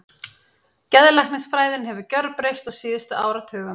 Geðlæknisfræðin hefur gjörbreyst á síðustu áratugum.